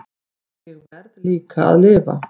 En ég verð líka að lifa.